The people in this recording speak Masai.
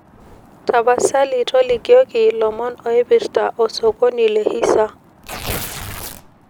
tapasali tolikioki lomon oiprta osokoni le hisa